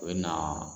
U bɛ na